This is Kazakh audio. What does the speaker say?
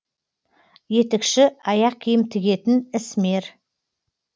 етікші аяқ киім тігетін ісмер